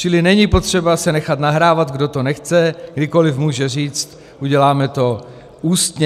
Čili není potřeba se nechat nahrávat, kdo to nechce, kdykoli může říct: uděláme to ústně.